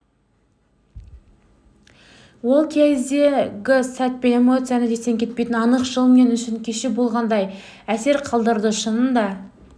ол кездегі сәт пен эмоцияның естен кетпейтіні анық жыл мен үшін кеше болғандай әсер қалдырады шынында